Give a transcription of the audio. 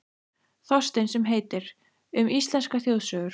Þorstein sem heitir: Um íslenskar þjóðsögur.